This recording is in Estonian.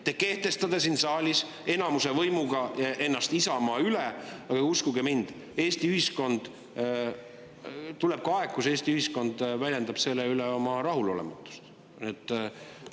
Te kehtestate siin saalis enamuse võimuga ennast Isamaa üle, aga uskuge mind, tuleb aeg, kui Eesti ühiskond väljendab oma rahulolematust selles.